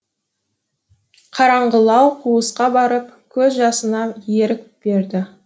қараңғылау қуысқа барып көз жасына ерік берді